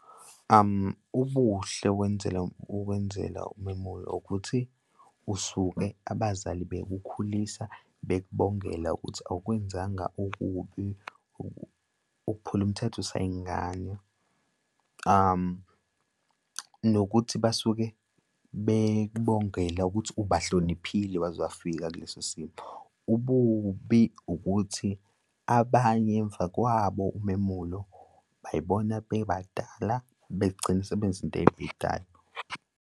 Ubuhle wenzela, ukwenzela umemulo ukuthi usuke abazali bekukhulisa bekubongela ukuthi awukwenzanga okubi ukuphula umthetha usayingane nokuthi basuke bekubongela ukuthi ubahloniphile waze wafika kuleso simo. Ububi ukuthi abanye emva kwabo umemulo bay'bona bebadala begcine sebenza izinto ey'bhedayo.